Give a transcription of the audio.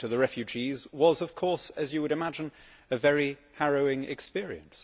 Talking to the refugees was, of course, as you would imagine, a very harrowing experience.